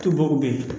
Tubabu bɛ yen